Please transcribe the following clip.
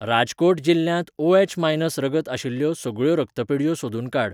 राजकोट जिल्ल्यांत ओएच.मायनस रगत आशिल्ल्यो सगळ्यो रक्तपेढयो सोदून काड.